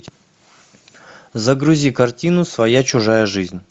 загрузи картину своя чужая жизнь